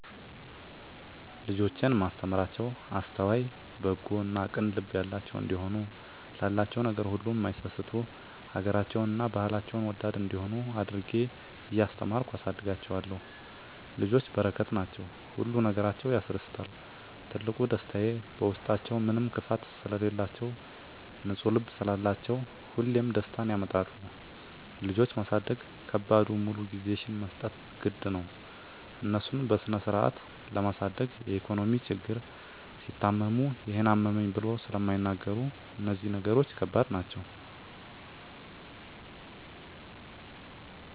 ልጆቼን እማስተምራቸዉ አስተዋይ፣ በጎ እና ቅን ልብ ያላቸዉ እንዲሆኑ፣ ላላቸዉ ነገር ሁሉ እማይሳስቱ፣ ሀገራቸዉን እና ባህላቸዉን ወዳድ እንዲሆነ አድርጌ እያስተማርኩ አሳድጋቸዋለሁ። ልጆች በረከት ናቸዉ። ሁሉ ነገራቸዉ ያስደስታል ትልቁ ደስታየ በዉስጣችዉ ምንም ክፋት ስለላቸዉ፣ ንፁ ልብ ስላላቸዉ ሁሌም ደስታን ያመጣሉ። ልጆች ማሳደግ ከባዱ ሙሉ ጊዜሽን መስጠት ግድ ነዉ፣ እነሱን በስነስርአት ለማሳደግ የኢኮኖሚ ችግር፣ ሲታመሙ ይሄን አመመኝ ብለዉ ስለማይናገሩ እነዚህ ነገሮች ከባድ ናቸዉ።